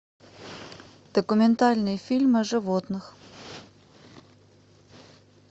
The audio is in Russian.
документальный фильм о животных